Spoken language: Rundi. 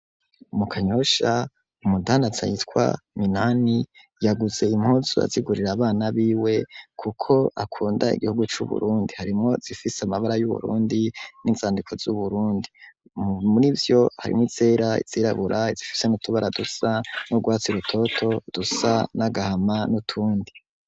Mu kanyosha umutana ata yitwa minani yaguze impozu azigurira abana biwe, kuko akunda igihugu c'uburundi harimwo zifise amabara y'uburundi n'insandiko z'uburundi muri vyo harimwo isera izirabura zifise mutubara dusa no gwatsa irutoto dusa n'agahamanu utundi.